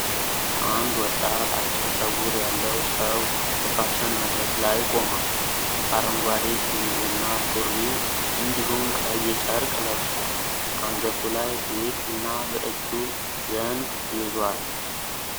አንድ ወጣት አጭር ጸጉር ያለው ሰው በፋሽን መድረክ ላይ ቆሟል። አረንጓዴ ሸሚዝና ሱሪ እንዲሁም ቀይ ጨርቅ ለብሷል። አንገቱ ላይ ጌጥ እና በእጁ ዘንግ ይዟል።